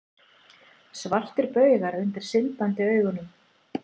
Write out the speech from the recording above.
Svartir baugar undir syndandi augunum.